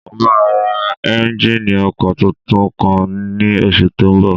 Mo máa ra éúnjínì ọkọ̀ tuntun kan ní oṣù tó n bọ̀